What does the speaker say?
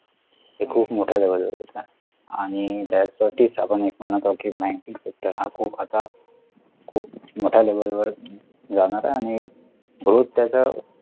ते खूप मोठा जवळ होता आणि त्यासाठीच आपण एक म्हणतो की banking sector हा खूप आता खूप मोठ्या level वर जाणार आहे आणि growth त्याचा